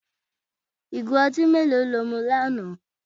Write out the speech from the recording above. Igo ọtí mélòó ni o mu ní àná?